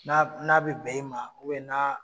Na n'a bi bɛn i ma n'a